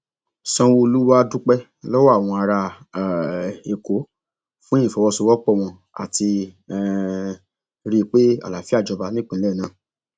sanwóolú wàá dúpẹ lọwọ àwọn ará um èkó fún ìfọwọsowọpọ wọn láti um rí i pé àlàáfíà jọba nípìnlẹ náà